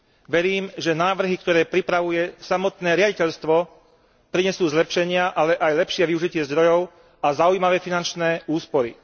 Verím, že návrhy, ktoré pripravuje samotné riaditeľstvo prinesú zlepšenia, ale aj lepšie využitie zdrojov a zaujímavé finančné úspory.